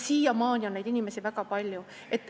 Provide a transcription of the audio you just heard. Siiamaani on neid inimesi väga palju.